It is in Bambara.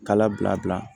Kala bila